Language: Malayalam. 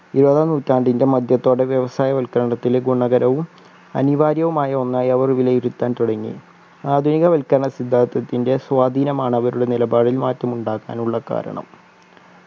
ഇരുപതാം നൂറ്റാണ്ടിൻ്റെ മധ്യത്തോടെ വ്യവസായവൽകരണത്തിലെ ഗുണകരവും അനിവാര്യവുമായ ഒന്നായി അവർ വിലയിരുത്താൻ തുടങ്ങി ആധുനിക വൽക്കരണ സിദ്ധാന്തതത്തിൻ്റെ സ്വാധീനമാണ് അവരുടെ നിലപാടിൽ മാറ്റം ഉണ്ടാക്കാനുള്ള കാരണം